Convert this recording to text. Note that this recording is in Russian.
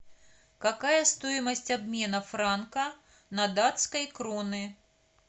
какая стоимость обмена франка на датской кроны